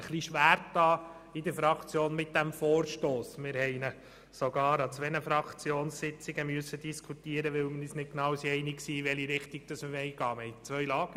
Wir haben uns in der Fraktion mit diesem Vorstoss etwas schwer getan und ihn sogar in zwei Sitzungen diskutieren müssen, weil wir uns nicht einig waren, in welche Richtung wir gehen wollen.